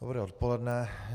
Dobré odpoledne.